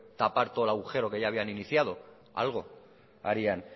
tapar todo el agujero que ya había iniciado algo harían